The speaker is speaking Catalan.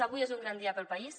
avui és un gran dia per al país